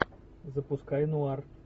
запускай нуар